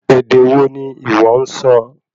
Èdè wo ní ìwọ nsọ?